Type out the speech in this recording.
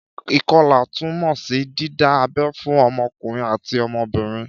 Ìkọlà tún mọ sí dídá abẹ́ fún ọmọkùnrin àti ọmọbìnrin